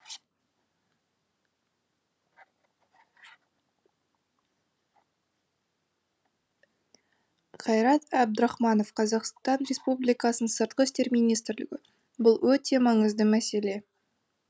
қайрат әбдірахманов қазақстан республикасының сыртқы істер министрігі бұл өте маңызды мәселе